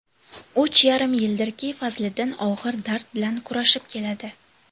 Uch yarim yildirki, Fazliddin og‘ir dard bilan kurashib keladi.